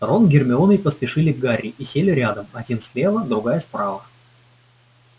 рон с гермионой поспешили к гарри и сели рядом один слева другая справа